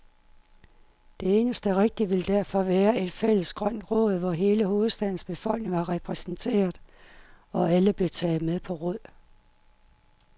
Det eneste rigtige ville derfor være et fælles grønt råd, hvor hele hovedstadens befolkning var repræsenteret, og alle blev taget med på råd.